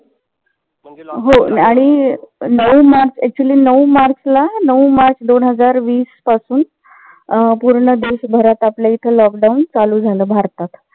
हो. आणि नऊ मार्च actually नऊ मार्च ला नऊ मार्च दोन हजार वीस पासून पूर्ण देशभरात आपल्या इथ lockdown चालू झालं भारतात.